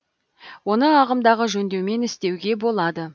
оны ағымдағы жөндеумен істеуге болады